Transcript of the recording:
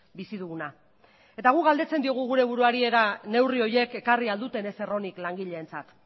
bizi duguna guk galdetzen diogu gure buruari ea neurri horiek ekarri ahal duten ezer onik langileentzat